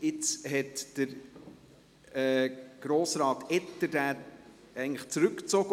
Jetzt hat Grossrat Etter diesen eigentlich zurückgezogen.